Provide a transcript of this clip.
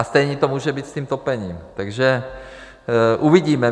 A stejné to může být s tím topením, takže uvidíme.